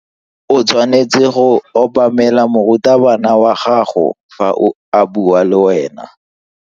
O tshwanetse go obamela morutabana wa gago fa a bua le wena.